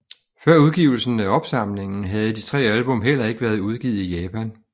Før udgivelsen af opsamlingen havde de tre album heller ikke været udgivet i Japan